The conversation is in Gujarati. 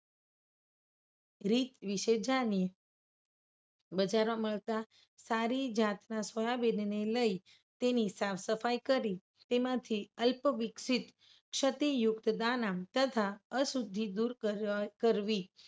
રીત વિશે જાણીએ. બજારમાં મળતા સારી જાતના સોયાબીનને લઈ તેની સાફ સફાઈ કરી તેમાંથી અલ્પવિકસિત ક્ષતિયુક્ત દાનામ તથા અશુદ્ધિ દૂર કરવી.